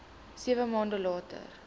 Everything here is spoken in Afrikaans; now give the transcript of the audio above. sewe maande later